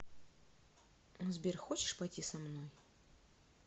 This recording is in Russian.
сбер хочешь пойти со мной